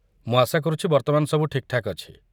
ମୁଁ ଆଶା କରୁଛି ବର୍ତ୍ତମାନ ସବୁ ଠିକ୍‌ଠାକ୍‌ ଅଛି?